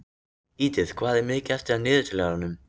Edith, hvað er mikið eftir af niðurteljaranum?